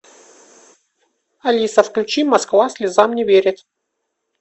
алиса включи москва слезам не верит